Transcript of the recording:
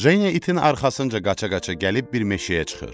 Jeniya itin arxasınca qaça-qaça gəlib bir meşəyə çıxır.